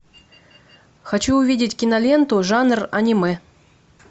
хочу увидеть киноленту жанр аниме